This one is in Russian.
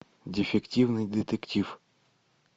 дефективный детектив